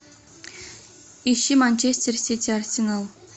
ищи манчестер сити арсенал